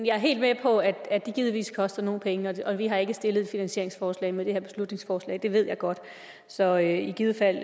jeg er helt med på at det givetvis koster nogle penge og vi har ikke stillet et finansieringsforslag med det her beslutningsforslag det ved jeg godt så i givet fald